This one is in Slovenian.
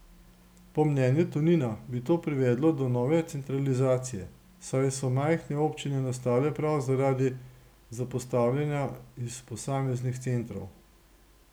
Po mnenju Tonina bi to privedlo do nove centralizacije, saj so majhne občine nastale prav zaradi zapostavljanja iz posameznih centrov.